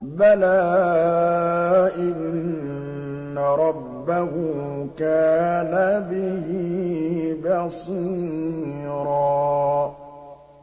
بَلَىٰ إِنَّ رَبَّهُ كَانَ بِهِ بَصِيرًا